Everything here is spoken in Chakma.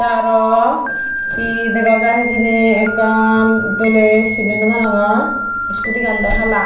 tey araw hi degai jaai hijeni ekkan doley sini nawparongor skuti aan daw hala.